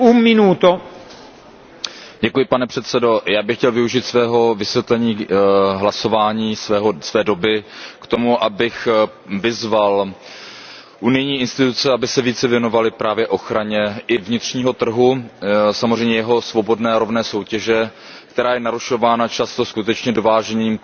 Pane předsedající, já bych chtěl využít svého vysvětlení hlasování k tomu, abych vyzval unijní instituce, aby se více věnovaly právě ochraně vnitřního trhu, samozřejmě jeho svobodné i rovné soutěže, která je narušována často skutečně dovážením padělaných výrobků,